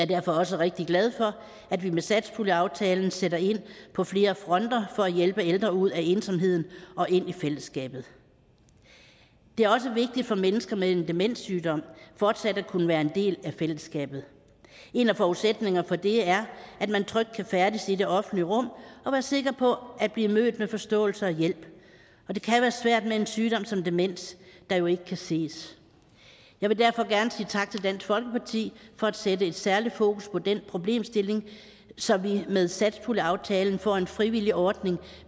derfor også rigtig glad for at vi med satspuljeaftalen sætter ind på flere fronter for at hjælpe ældre ud af ensomheden og ind i fællesskabet det er også vigtigt for mennesker med en demenssygdom fortsat at kunne være en del af fællesskabet en af forudsætningerne for det er at man trygt kan færdes i det offentlige rum og være sikker på at blive mødt med forståelse og hjælp og det kan være svært med en sygdom som demens der jo ikke kan ses jeg vil derfor gerne sige tak til dansk folkeparti for at sætte et særligt fokus på den problemstilling så vi med satspuljeaftalen får en frivillig ordning